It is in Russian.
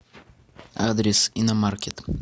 адрес иномаркет